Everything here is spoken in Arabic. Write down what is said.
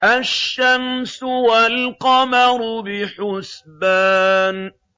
الشَّمْسُ وَالْقَمَرُ بِحُسْبَانٍ